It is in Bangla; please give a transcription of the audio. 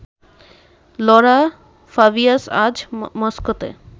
লঁরা ফাবিয়াস আজ মস্কোতে